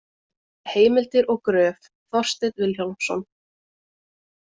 Heimildir og gröf: Þorsteinn Vilhjálmsson.